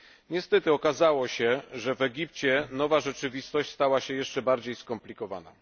Niestety okazało się, że w Egipcie nowa rzeczywistość stała się jeszcze bardziej skomplikowana.